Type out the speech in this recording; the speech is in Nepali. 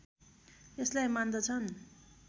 यसलाई मान्दछन्